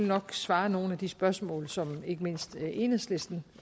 nok besvare nogle af de spørgsmål som ikke mindst enhedslisten